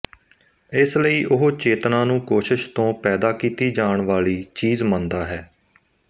ਇਸ ਲਈ ਉਹ ਚੇਤਨਾ ਨੂੰ ਕੋਸ਼ਿਸ਼ ਤੋਂ ਪੈਦਾ ਕੀਤੀ ਜਾਣ ਵਾਲੀ ਚੀਜ਼ ਮੰਨਦਾ ਹੈ